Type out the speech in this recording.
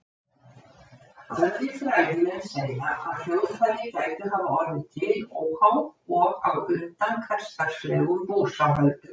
Aðrir fræðimenn segja að hljóðfæri gætu hafa orðið til óháð og á undan hversdagslegum búsáhöldum.